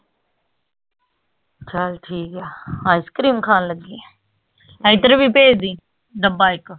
ਚੱਲ ਠੀਕ ਆ ice cream ਖਾਨ ਲੱਗੀ ਆ ਏਧਰ ਵੀ ਭੇਜਦੀ ਡੱਬਾ ਇਕ